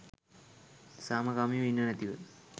සාමකාමීව ඉන්නෙ නැතිව